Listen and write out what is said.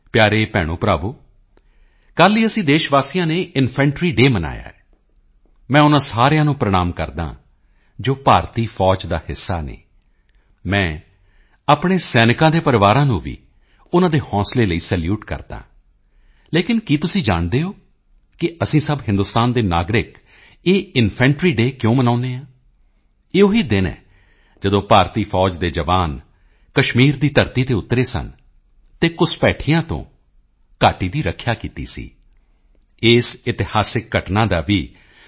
ਪਿਆਰੇ ਭੈਣੋਭਰਾਵੋ ਕੱਲ ਹੀ ਅਸੀਂ ਦੇਸ਼ ਵਾਸੀਆਂ ਨੇ ਇਨਫੈਂਟਰੀ ਡੇਅ ਮਨਾਇਆ ਹੈ ਮੈਂ ਉਨ੍ਹਾਂ ਸਾਰਿਆਂ ਨੂੰ ਪ੍ਰਣਾਮ ਕਰਦਾ ਹਾਂ ਜੋ ਭਾਰਤੀ ਫੌਜ ਦਾ ਹਿੱਸਾ ਹਨ ਮੈਂ ਆਪਣੇ ਸੈਨਿਕਾਂ ਦੇ ਪਰਿਵਾਰਾਂ ਨੂੰ ਵੀ ਉਨ੍ਹਾਂ ਦੇ ਹੌਸਲੇ ਲਈ ਸੈਲੂਟ ਕਰਦਾ ਹਾਂ ਲੇਕਿਨ ਕੀ ਤੁਸੀਂ ਜਾਣਦੇ ਹੋ ਕਿ ਅਸੀਂ ਸਭ ਹਿੰਦੁਸਤਾਨ ਦੇ ਨਾਗਰਿਕ ਇਹ ਇਨਫੈਂਟਰੀ ਡੇਟੀ ਕਿਉ ਮਨਾਉਂਦੇ ਹਾਂ ਇਹ ਉਹੀ ਦਿਨ ਹੈ ਜਦੋਂ ਭਾਰਤੀ ਫੌਜ ਦੇ ਜਵਾਨ ਕਸ਼ਮੀਰ ਦੀ ਧਰਤੀ ਤੇ ਉਤਰੇ ਸਨ ਅਤੇ ਘੁਸਪੈਠੀਆਂ ਤੋਂ ਘਾਟੀ ਦੀ ਰੱਖਿਆ ਕੀਤੀ ਸੀ ਇਸ ਇਤਿਹਾਸਕ ਘਟਨਾ ਦਾ ਵੀ ਸ